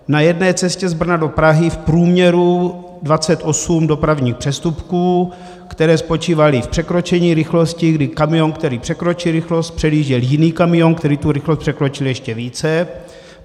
Na jedné cestě z Brna do Prahy v průměru 28 dopravních přestupků, které spočívaly v překročení rychlosti, kdy kamion, který překročí rychlost, předjížděl jiný kamion, který tu rychlost překročil ještě více.